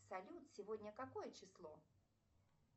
салют сегодня какое число